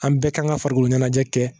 An bɛɛ kan ka farikolo ɲɛnajɛ kɛ